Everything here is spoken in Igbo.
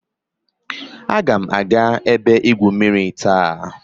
Agam aga ebe igwu mmiri taa.